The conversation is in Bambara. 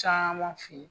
Caman fe yen